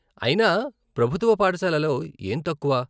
అయినా, ప్రభుత్వ పాఠశాలల్లో ఏం తక్కువ?